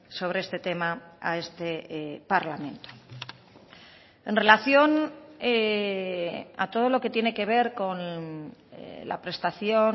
sobre este tema a este parlamento en relación a todo lo que tiene que ver con la prestación